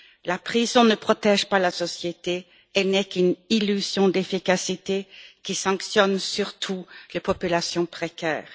La prison ne protège pas la société, elle n'est qu'une illusion d'efficacité qui sanctionne surtout les populations précaires.